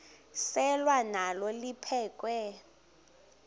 selwa nalo liphekhwe